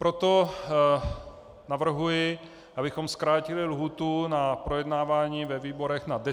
Proto navrhuji, abychom zkrátili lhůtu na projednávání ve výborech na deset dnů.